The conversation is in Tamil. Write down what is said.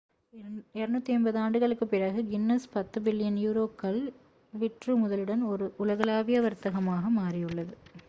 250 ஆண்டுகளுக்குப் பிறகு கின்னஸ் 10 பில்லியன் யூரோக்கள் 14.7 பில்லியன் அமெரிக்க டாலர் விற்றுமுதலுடன் ஒரு உலகளாவிய வர்த்தகமாக மாறியுள்ளது